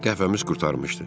Qəhvəmiz qurtarmışdı.